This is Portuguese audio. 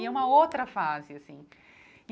E é uma outra fase, assim.